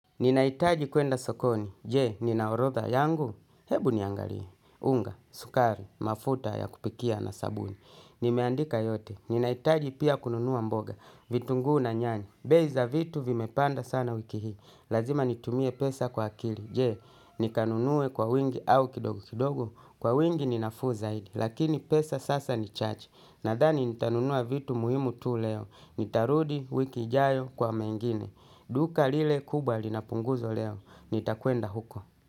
Ninahitaji kwenda sokoni, je, nina orodha yangu, hebu niangalie, unga, sukari, mafuta ya kupikia na sabuni. Nimeandika yote, ninahitaji pia kununua mboga, vitunguu na nyanya, bei za vitu vimepanda sana wiki hii. Lazima nitumie pesa kwa akili, je, nikanunue kwa wingi au kidogo kidogo, kwa wingi ni nafuu zaidi. Lakini pesa sasa ni chache, nadhani nitanunua vitu muhimu tu leo, nitarudi wiki ijayo kwa mengine. Duka lile kubwa linapunguzwa leo, nitakwenda huko.